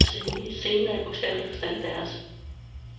Scenen er i bogstavelig forstand deres.